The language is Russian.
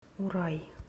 урай